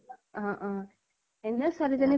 অ্হ অহ । এনেও ছোৱালীজনী